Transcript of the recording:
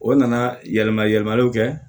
O nana yɛlɛma yɛlɛmaliw kɛ